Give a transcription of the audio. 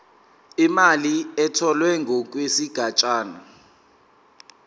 imali etholwe ngokwesigatshana